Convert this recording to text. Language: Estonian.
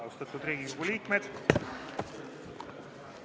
Austatud Riigikogu liikmed!